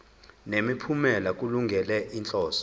nemiphumela kulungele inhloso